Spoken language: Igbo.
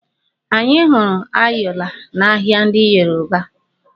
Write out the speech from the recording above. Anyi hụrụ ayọla n'ahịa ndị Yoruba.